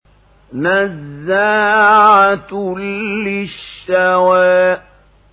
نَزَّاعَةً لِّلشَّوَىٰ